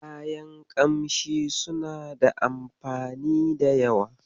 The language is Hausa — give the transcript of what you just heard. Kayan ƙamshi suna da anfani da yawa.